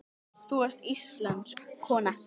Þú varst íslensk kona.